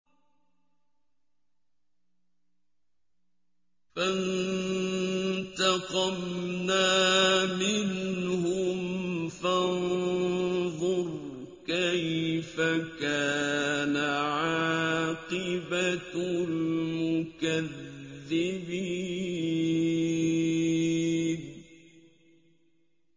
فَانتَقَمْنَا مِنْهُمْ ۖ فَانظُرْ كَيْفَ كَانَ عَاقِبَةُ الْمُكَذِّبِينَ